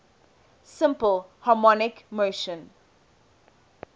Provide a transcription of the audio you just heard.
simple harmonic motion